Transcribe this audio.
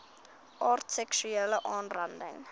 aard seksuele aanranding